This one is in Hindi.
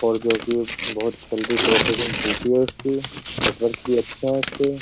और जो कि बहुत जल्दी प्रोसेसिंग चलती है इसकी नेटवर्क भी अच्छे हैं इस पे।